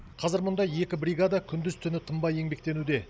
қазір мұнда екі бригада күндіз түні тынбай еңбектенуде